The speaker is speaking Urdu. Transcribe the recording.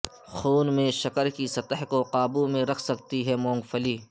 خون میں شکر کی سطح کو قابو میں رکھ سکتی ہے مونگ پھلی